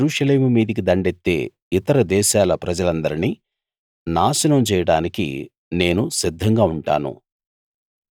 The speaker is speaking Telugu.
ఆ కాలంలో యెరూషలేము మీదికి దండెత్తే ఇతర దేశాల ప్రజలందరినీ నాశనం చేయడానికి నేను సిద్ధంగా ఉంటాను